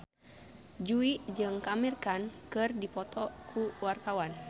Jui jeung Amir Khan keur dipoto ku wartawan